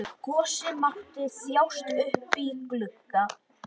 Gosi mátti þjást uppí glugga.